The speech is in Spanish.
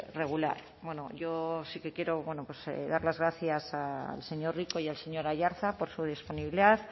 regular bueno yo sí que quiero bueno pues dar las gracias al señor rico y al señor aiartza por su disponibilidad